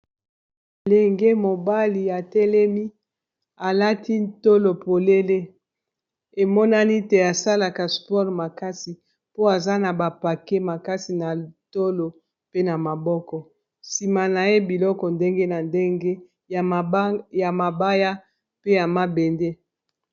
Elenge mobali atelemi alati tolo polele emonani te asalaka sport makasi po aza na bapake makasi na tolo pe na maboko sima na ye biloko ndenge na ndenge ya mabaya pe ya mabende.